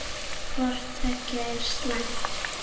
Hvort tveggja er slæmt.